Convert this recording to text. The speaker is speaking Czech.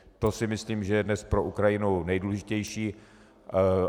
To si myslím, že je dnes pro Ukrajinu nejdůležitější.